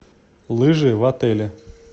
лыжи в отеле